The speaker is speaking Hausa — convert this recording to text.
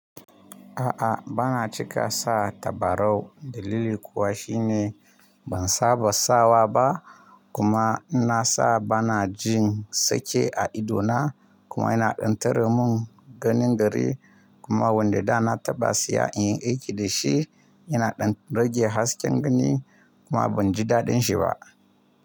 A'a, ba na cika sa tabarau. Dalili kuwa shi ne ban saba sawa ba kuma in nasa bana jin sake a idona kuma yana dan tare mun ganin gari. Kuma wanda da na taba siya inyi aiki dashi. Yana ɗan rage hasken gani kuma ban ji daɗin shi ba.